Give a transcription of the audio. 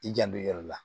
I janto i yɛrɛ la